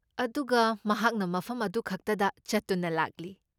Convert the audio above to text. ꯑꯗꯨꯒ ꯃꯍꯥꯛꯅ ꯃꯐꯝ ꯑꯗꯨꯈꯛꯇꯗ ꯆꯠꯇꯨꯅ ꯂꯥꯛꯂꯤ꯫